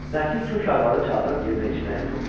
Nəsir kök arvadı çağırıb yemək-içməyin pulunu verdi.